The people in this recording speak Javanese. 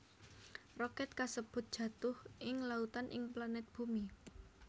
Roket kasèbut jatuh ing lautan ing planet bumi